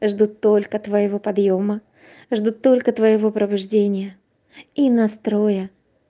жду только твоего подъёма жду только твоего пробуждения и настроя